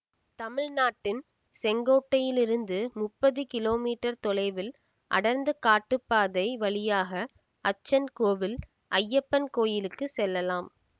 தமிழ்நாட்டின் செங்கோட்டையிலிருந்து முப்பது கிலோ மீட்டர் தொலைவில் அடர்ந்த காட்டுபாதை வழியாக அச்சன்கோவில் அய்யப்பன் கோயிலுக்கு செல்லலாம்